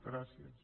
gràcies